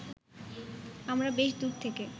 আমরা বেশ দূর থেকে